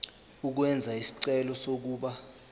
ukwenza isicelo sokuba